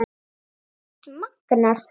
Hreint magnað!